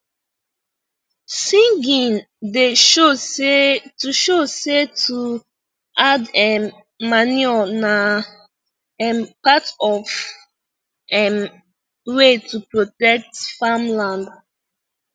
singing da show say to show say to add um manure na um part of um way to protect farm land